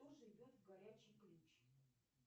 кто живет в горячий ключ